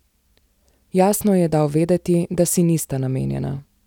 Jasno ji je dal vedeti, da si nista namenjena.